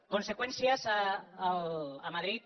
conseqüències a madrid